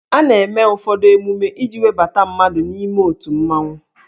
A na-eme ụfọdụ emume iji webata mmadụ n'ime otu mmanwụ